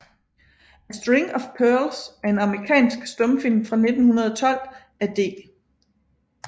A String of Pearls er en amerikansk stumfilm fra 1912 af D